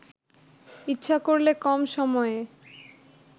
ইচ্ছা করলে কম সময়ে